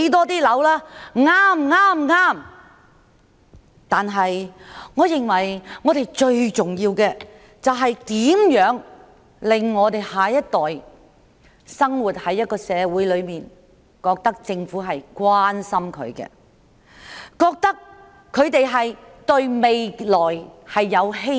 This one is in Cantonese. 但我認為最重要的，是我們要讓下一代生活在一個感受到政府關心的社會中，令他們對未來有希望。